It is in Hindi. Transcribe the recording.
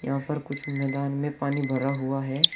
यहां पर कुछ मैदान में पानी भरा हुआ है।